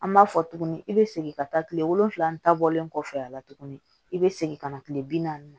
An b'a fɔ tuguni i be segin ka taa kile wolonwula ni ta bɔlen kɔfɛ a la tuguni i be segin ka na kile bi naani